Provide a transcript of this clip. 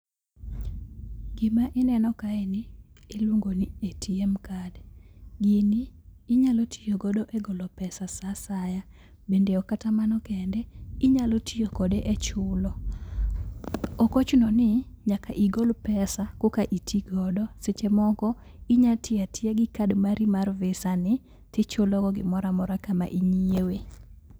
Gima ineno kae ni iluongo ni ATM CARD. Gini inyalo tii godo e golo pesa saa asaya. Bende ok kata mano kende, inyalo tiyo kode e chulo. Ok ochuno ni nyaka igol pesa koka itii godo. Seche moko, inya tiya tiya gi card mari mar visa ni tichulo go gimoramora kama inyiewe.